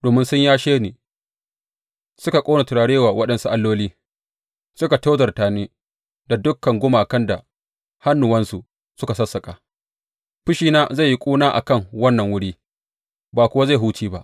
Domin sun yashe ni suka ƙona turare wa waɗansu alloli, suka tozarta ni da dukan gumakan da hannuwansu suka sassaƙa, fushina zai yi ƙuna a kan wannan wuri, ba kuwa zai huce ba.’